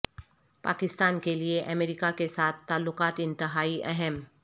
پاکستان کے لیے امریکہ کے ساتھ تعلقات انتہائی اہم